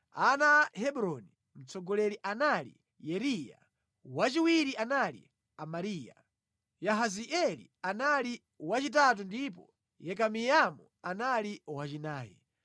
Ana a Hebroni: Mtsogoleri anali Yeriya, wachiwiri anali Amariya, Yahazieli anali wachitatu ndipo Yekameamu anali wachinayi.